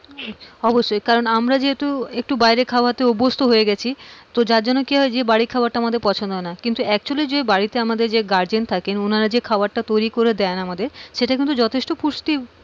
অবশ্যই কারন আমরা যেহেতু একটু বাইরে খাওয়াতে অভ্যস্ত হয়ে গেছি, যে যার জন্য কি হয় আমাদের বাড়ির খাবারটা আমাদের পছন্দ হয় না কিন্তু actually যে আমাদের যে guardian থাকেন ওনারা যে খাবারটা তৈরি করে দেন আমাদের সেটা কিন্তু যথেষ্ট পুষ্টি,